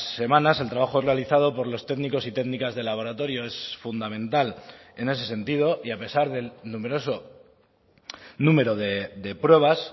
semanas el trabajo realizado por los técnicos y técnicas de laboratorio es fundamental en ese sentido y a pesar del numeroso número de pruebas